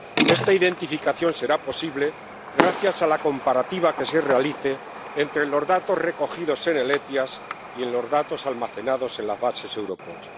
Esta identificación será posible gracias a la comparativa que se realice entre los datos recogidos en el SEIAV y los datos almacenados en las bases Europol.